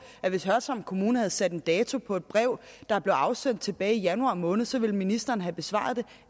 at hvis hørsholm kommune havde sat en dato på et brev der blev afsendt tilbage i januar måned så ville ministeren have besvaret det